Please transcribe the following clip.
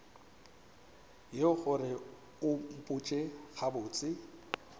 yeo gore o mpotše gabotse